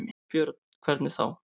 Björn: Hvernig þá?